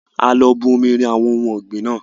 A lọ bù omi rìn àwọn ohun ọ̀gbìn naa